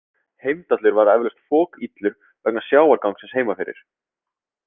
Heimdallur var eflaust fokillur vegna sjávargangsins heima fyrir.